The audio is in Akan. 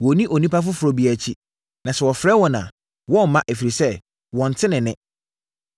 Wɔrenni onipa foforɔ biara akyi. Na sɛ ɔfrɛ wɔn a, wɔremma, ɛfiri sɛ, wɔnte ne nne.”